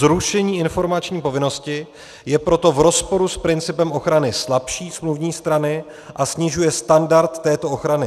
Zrušení informační povinnosti je proto v rozporu s principem ochrany slabší smluvní strany a snižuje standard této ochrany.